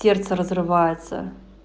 сердце разрывается